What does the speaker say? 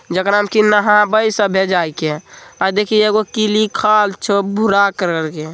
जिगर में नहावेव सबवे दिहि एगो भूरा कराल हे ।